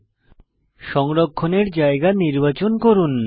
file সংরক্ষণের জায়গা নির্বাচন করুন